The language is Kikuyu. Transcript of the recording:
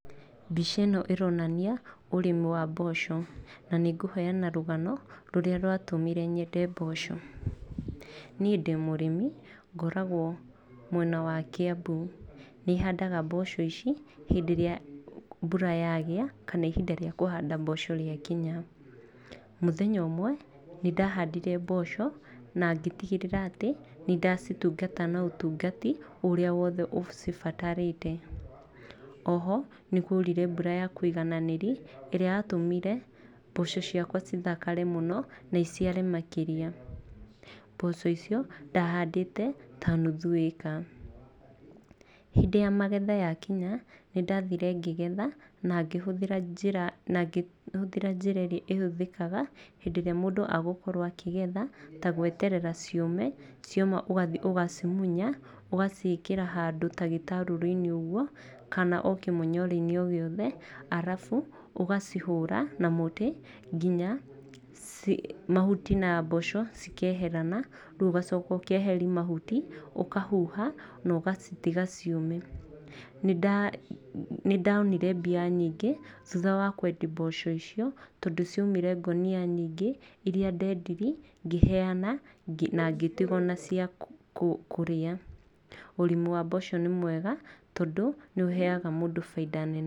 Mbica ĩno ĩronania ũrĩmi wa mboco. Na nĩ ngũheana rũgano rũrĩa rwatũmire nyende mboco. Niĩ ndĩ mũrimi ngoragwo mwena wa Kiambu. Ni handaga mboco ici hĩndĩ ĩrĩa mbura yagia kana ihinda rĩa kũhanda mboco rĩakinya. Mũthenya ũmwe nĩ ndahandire mboco na ngĩtigĩrĩra atĩ nĩ ndacitungata na ũtungati ũria wothe ũcibatarĩte. O ho nĩ kwoirire mbura ya kũigananĩri ĩrĩa yatũmire mboco ciakwa cithakare mũno na iciare makĩria. Mboco icio ndahandĩte ta nuthu ĩka. Hĩndĩ ya magetha yakinya nĩ ndathire ngĩgetha, na ngĩhũthĩra na ngĩhũthĩra njĩra ĩrĩa ĩhũthĩkaga hĩndĩ ĩrĩa mũndũ agũkorwo akĩgetha. Ta gweterera ciũme, cioma ũgathiĩ, ũgacimunya ũgaciĩkĩra handũ ta gĩtarũrũ-inĩ ũguo kana o kĩmũnyore-inĩ gĩothe, arabu ũgacihũra na mũtĩ nginya mahuti na mboco cikeherana. Rĩu ũgacoka ũkeheria mahuti, ũkahuha na ũgacitiga ciũme. Nĩ ndonire mbia nyingĩ thutha wa kwendia mboco icio, tondũ cioimire ngũnia irĩa ndendirie, ngĩheana na ngĩtiguo na ciakũrĩa. Ũrĩmi wa mboco nĩ mwega tondũ nĩ ũheaga mũndũ bainda nene...